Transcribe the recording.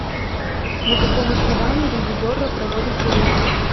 на каком основании ревизорро проводит проверки